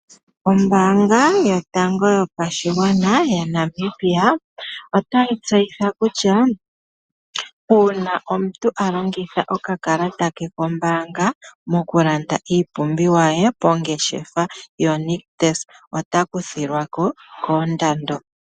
Ombaanga yotango yopashigwana yaNamibia otayi tseyitha kutya uuna omuntu a landa okakalata ke kombaanga , moku landa iipumbiwa ye ongeshefa yoNictus ota kuthilwa ko koondando.